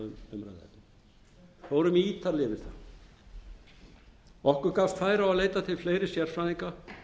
gerðar að umræðuefni við fórum ítarlega yfir það okkur gafst færi á að leita til fleiri sérfræðinga